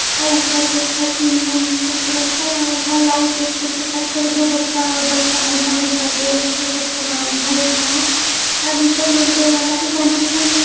आ उपर देख टिन उन से पूरा छवाव लबा लाइट वाइट के चका चौध में बड़का मोटा मोटा लोहा के सब सामान धइल बा अब इ सब रेलवे वाला ही जानत होइहे।